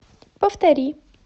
повтори